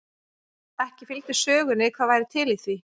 Ekki fylgdi sögunni hvað væri til í því.